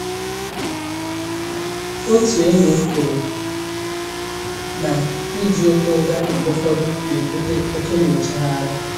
Otu enyí m kwuru na ịjụ ịkwụ ngarị mgbe ụfọdụ na-ebute oke nyochagharị